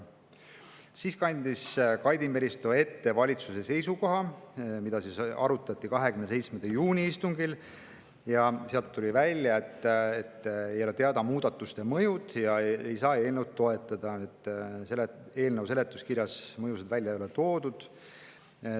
Siis kandis Kaidi Meristo ette valitsuse seisukoha, mida arutati 27. juuni istungil, ja seal tuli välja, et muudatuste mõjud ei ole teada ja eelnõu ei saa toetada, kuna selle seletuskirjas ei ole mõjusid välja toodud.